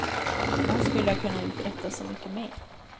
Han skulle ha kunnat uträtta så mycket mera.